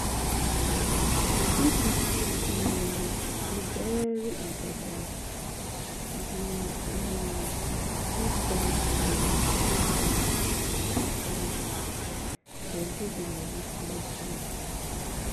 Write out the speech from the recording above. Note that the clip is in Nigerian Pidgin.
if di thing um dey very important you um fit buy am am um then pay di moni small small